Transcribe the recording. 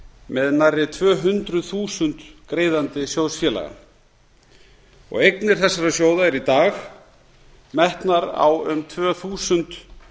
með nærri tvö hundruð þúsund greiðandi sjóðsfélaga eignir þessara sjóða eru í dag metnar á um tvö þúsund